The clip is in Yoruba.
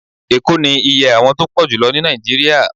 Eko ni íyẹ́ àwon tọ pojulo ni Naijiria